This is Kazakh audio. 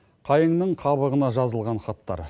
қайыңның қабығына жазылған хаттар